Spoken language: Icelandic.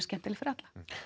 skemmtileg fyrir alla